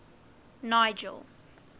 nigel